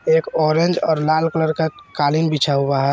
एक ऑरेंज और लाल कलर का कालीन बिछा हुआ है।